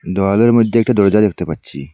দেওয়ালের মধ্যে একটা দরজা দেখতে পাচ্ছি।